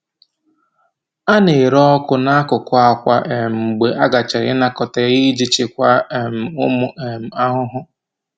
A na-ere ọkụ n’akụkụ akwa um mgbe a gachara ịnakọta ya iji chịkwaa um ụmụ um ahụhụ.